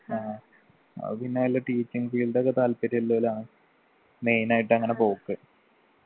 ആ അത് പിന്നെ വല്ല teaching field ഒക്കെ താല്പര്യലോലാ main ആയിട്ടെങ്ങന പോക്ക്